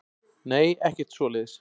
Nei, ekkert svoleiðis.